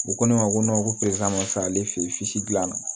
U ko ne ma ko ko ma sa ale fe yen gilanna